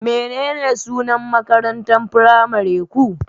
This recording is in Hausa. Menene sunan makarantar firamare ku?